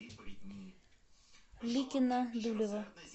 ликино дулево